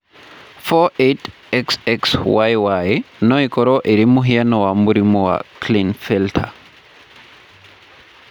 48,XXYY no ĩkorũo ĩrĩ mũhiano wa mũrimũ wa Klinefelter.